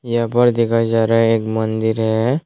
यहाँ पर दिखाया जा रहा है एक मन्दिर है।